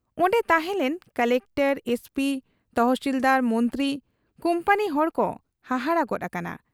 ᱚᱱᱰᱮ ᱛᱟᱦᱮᱸᱞᱮᱱ collector, SP, ᱛᱚᱦᱥᱤᱞᱫᱟᱨ, ᱢᱚᱱᱛᱨᱤ, ᱠᱩᱢᱯᱟᱱᱤ ᱦᱚᱲᱠᱚ ᱦᱟᱦᱟᱲᱟ ᱜᱚᱫ ᱟᱠᱟᱱᱟ ᱾